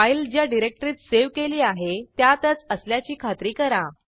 file ज्या डिरेक्टरीत save केली आहे त्यातच असल्याची खात्री करा